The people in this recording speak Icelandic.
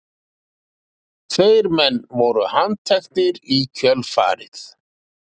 Tveir menn voru handteknir í kjölfarið